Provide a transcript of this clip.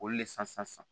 Olu le san sa